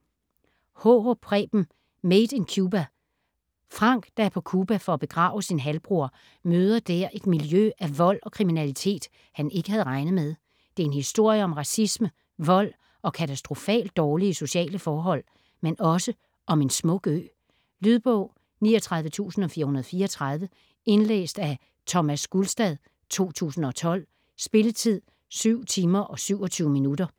Haarup, Preben: Made in Cuba Frank, der er på Cuba for at begrave sin halvbror, møder der et miljø af vold og kriminalitet, han ikke havde regnet med. Det er en historie om racisme, vold og katastrofalt dårlige sociale forhold, men også om en smuk ø. Lydbog 39434 Indlæst af Thomas Gulstad, 2012. Spilletid: 7 timer, 27 minutter.